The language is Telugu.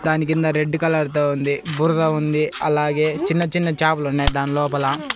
దాని కింద రెడ్డు కలర్ తో ఉంది బురద ఉంది అలాగే చిన్న చిన్న చాపలున్నాయ్ దాన్ లోపల.